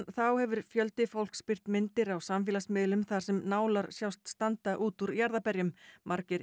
þá hefur fjöldi fólks birt myndir á samfélagsmiðlum þar sem nálar sjást standa út úr jarðarberjum margir